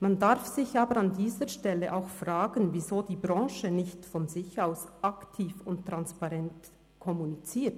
Man darf sich aber an dieser Stelle auch fragen, weshalb die Branche nicht von sich aus aktiv und transparent kommuniziert.